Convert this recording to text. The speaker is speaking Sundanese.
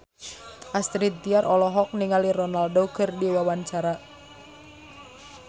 Astrid Tiar olohok ningali Ronaldo keur diwawancara